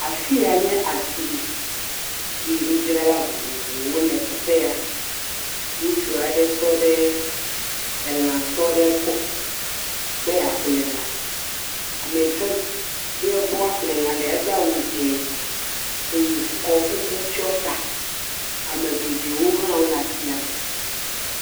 Afi ya nye asime eye nudzrala vovovowo le teƒe ya, ŋutsu aɖe tɔ ɖe elãtɔ ɖe gbɔ be yeaƒle lã, ame yike gbɔ, wòbe yeaƒle elã lea edo awu dzee eye wòtsɔ kuku tsyɔ ta, ame geɖewo hã wole asia me.